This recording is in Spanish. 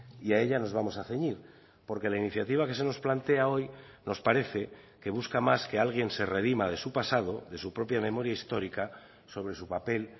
y a ella nos vamos a ceñir porque la iniciativa que se nos plantea hoy nos parece que busca más que alguien se redima de su pasado de su propia memoria histórica sobre su papel